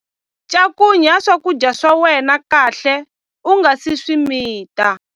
Cakunya swakudya swa wena kahle u nga si swi mita.